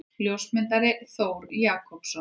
Ljósmyndari: Þór Jakobsson.